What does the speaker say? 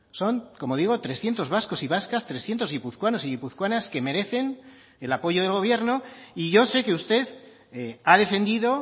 son como digo trescientos vascos y vascas trescientos guipuzcoanos y guipuzcoanas que merecen el apoyo del gobierno y yo sé que usted ha defendido